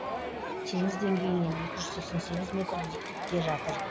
теңіз деңгейінен екі жүз сексен сегіз метр биіктікте жатыр